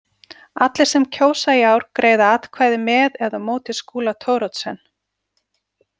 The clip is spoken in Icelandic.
Allir sem kjósa í ár greiða atkvæði með eða móti Skúla Thoroddsen.